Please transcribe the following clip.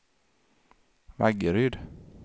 Vaggeryd